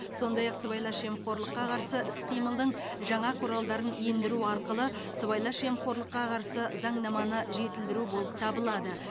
сондай ақ сыбайлас жемқорлыққа қарсы іс қимылдың жаңа құралдарын ендіру арқылы сыбайлас жемқорлыққа қарсы заңнаманы жетілдіру болып табылады